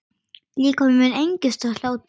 Líkami minn engist af hlátri.